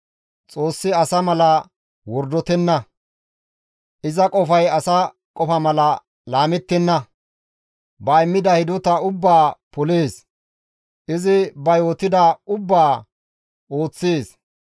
Xoossi asa mala wordotenna; iza qofay asa qofa mala laamettenna; izi ba immida hidota ubbaa polees; izi ba yootida ubbaa ooththees.